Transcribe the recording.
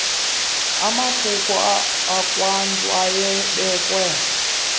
amakhuko akwantu awayebekwe